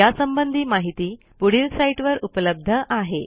यासंबंधी माहिती पुढील साईटवर उपलब्ध आहे